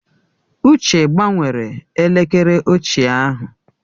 Uche gbanwere elekere ochie ahụ.